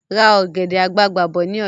Ra ọ̀gẹ̀dẹ̀ àgbagbà bọ̀ si ni ọjà